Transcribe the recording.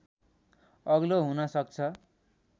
अग्लो हुन सक्छ